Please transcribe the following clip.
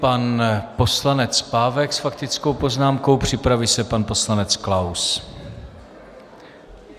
Pan poslanec Pávek s faktickou poznámkou, připraví se pan poslanec Klaus.